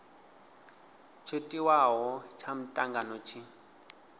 tsho tiwaho tsha mutangano tshi